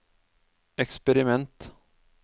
eksperiment